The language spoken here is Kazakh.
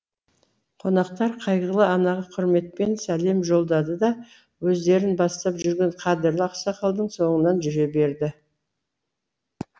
қонақтар қайғылы анаға құрметпен сәлем жолдады да өздерін бастап жүрген қадірлі ақсақалдың соңынан жүре берді